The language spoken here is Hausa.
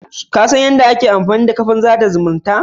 Kasan yadda ake amfanida kafan sada zumunta?